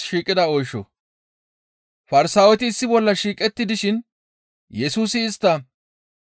Farsaaweti issi bolla shiiqetti dishin Yesusi istta,